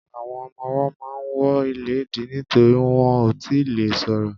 Àwọn ọmọwọ́ ma ń wọ ìléèdí nítorí wọn ò tíì le ṣọ̀rọ̀.